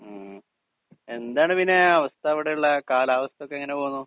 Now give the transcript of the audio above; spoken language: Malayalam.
സ്പീക്കർ 2 മ്മ് എന്താണ് പിന്നെ അവസ്ഥ അവിടെയുള്ള കാലാവസ്ഥ ഒക്കെ എങ്ങനെ പോകുന്നു